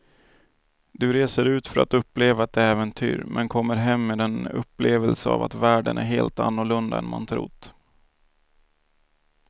Du reser ut för att uppleva ett äventyr men kommer hem med en upplevelse av att världen är helt annorlunda än man trott.